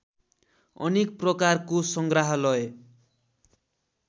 अनेक प्रकारको संग्राहलय